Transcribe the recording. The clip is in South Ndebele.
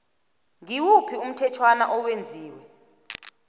ngimuphi umthetjhwana owenziwe